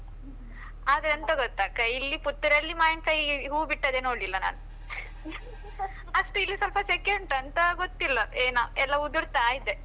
ಆದ್ರೆ ಎಂತ ಗೊತ್ತ ಅಕ್ಕ, ಇಲ್ಲಿ ಪುತ್ತೂರಲ್ಲಿ ಮಾವಿನ್ಕಾಯಿ ಹೂ ಬಿಟ್ಟದ್ದೇ ನೋಡ್ಲಿಲ್ಲ ನಾನು ಅಷ್ಟು ಇಲ್ಲಿ ಸ್ವಲ್ಪ ಸೆಕೆ ಉಂಟಾಂತ ಗೊತ್ತಿಲ್ಲ ಏನ, ಎಲ್ಲ ಉದುರ್ತಾ ಇದೆ.